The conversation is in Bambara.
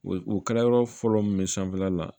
U kala yɔrɔ fɔlɔ min sanfɛla la